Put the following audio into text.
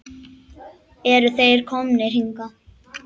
Eru þeir komnir hingað?